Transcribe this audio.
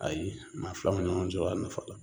Ayi maa fila a nafa